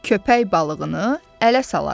Köpək balığını ələ salar o.